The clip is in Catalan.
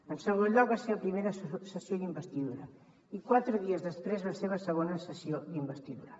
en segon lloc la seva primera sessió d’investidura i quatre dies després la seva segona sessió d’investidura